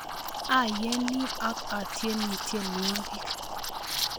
Ayene ak atyeni tyenwogik